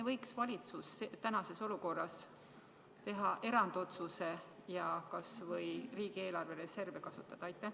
Aga kas valitsus ei võiks tänases olukorras teha erandotsuse ja kas või riigieelarve reserve kasutada?